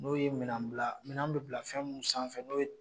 N'o ye minɛ bila minɛ bɛ bila fɛn mun sanfɛ n'o ye.